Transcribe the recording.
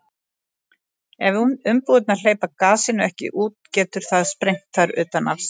ef umbúðirnar hleypa gasinu ekki út getur það sprengt þær utan af sér